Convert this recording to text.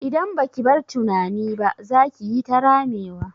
Idan baki bar tunani ba, za kiyi ta ramewa.